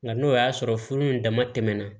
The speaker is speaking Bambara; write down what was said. Nka n'o y'a sɔrɔ furu in dama tɛmɛna